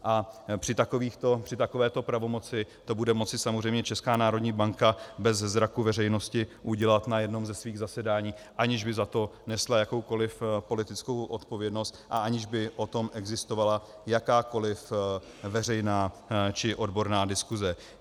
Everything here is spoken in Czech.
A při takovéto pravomoci to bude moci samozřejmě Česká národní banka bez zraku veřejnosti udělat na jednom ze svých zasedání, aniž by za to nesla jakoukoliv politickou odpovědnost a aniž by o tom existovala jakákoliv veřejná či odborná diskuse.